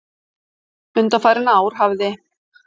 Undanfarin ár hafði